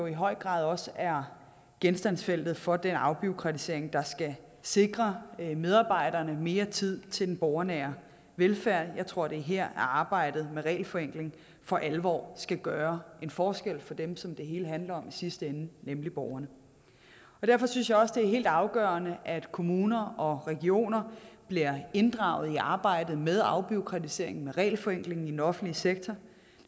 i høj grad også er genstandsfeltet for den afbureaukratisering der skal sikre medarbejderne mere tid til den borgernære velfærd jeg tror det er her at arbejdet med regelforenkling for alvor skal gøre en forskel for dem som det hele handler om i sidste ende nemlig borgerne derfor synes jeg også det er helt afgørende at kommuner og regioner bliver inddraget i arbejdet med afbureaukratiseringen og regelforenklingen i den offentlige sektor